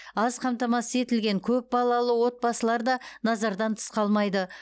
аз қамтамасыз етілген көпбалалы отбасылар да назардан тыс қалмайды